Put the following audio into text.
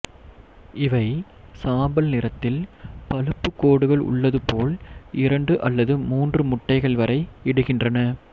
இவை சாம்பல் நிறத்தில் பழுப்பு கோடுகள் உள்ளது போல் இரண்டு அல்லது மூன்று முட்டைகள் வரை இடுகின்றன